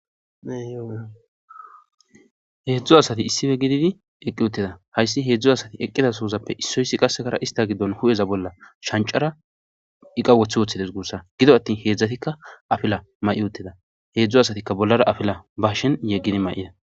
Yheedzdzo asati issife gididi eqqi utteda hayssi heedzdzo asati eqqida soozappe issoyssi qasekara ista giddon hu7eza bolla shancara iqa wothi woththides guussa gido attin heedzdzatikka afila may7i utteda heedzdzo asatikka bollara afila bashen yeggidi may7ida